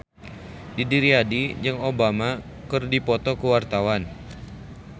Didi Riyadi jeung Obama keur dipoto ku wartawan